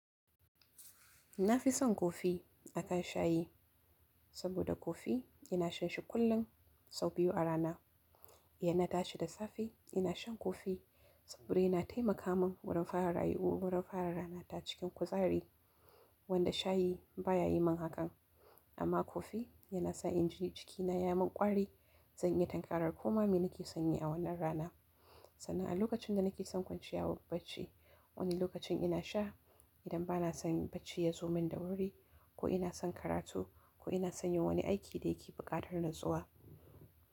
Na fi son kofi akan sha yi, saboda kofi ina sha shi kullum sau biyu a rana. In na tashi da safe, ina shan kofi saboda yana taimaka min wurin fara rayuwa, wurin fara ranata cikin kuzari. Wanda shayi baya yi min haka, amma kofi yana sa injin jikina ya min ƙwari, zan iya tanƙarar koma me nake sanye a wannan rana. Sannan a lokacin da nake son kwanciya bacci, wannan lokacin ina sha idan ba na son bacci ya zo min da wuri ko ina son karatu ko ina son yin wani aiki da yake buƙatar natsuwa.